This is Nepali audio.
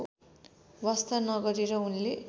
वास्ता नगरेर उनले